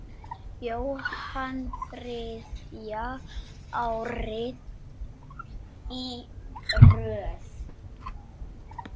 Jóhann þriðja árið í röð?